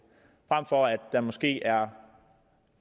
frem for at der måske er